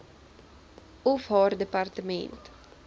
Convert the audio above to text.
of haar departement